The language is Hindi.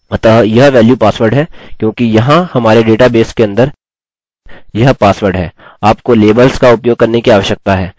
अतः यह वेल्यू password है क्योंकि यहाँ हमारे डेटा बेस के अंदर यह password है आपको लेबल्स का उपयोग करने की आवश्यकता है